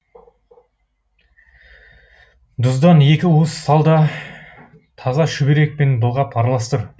дұздан екі уыс сал да таза шүберек пен былғап араластыр